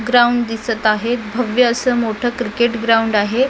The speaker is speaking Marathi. ग्राउंड दिसत आहे भव्य असं मोठं क्रिकेट आहे .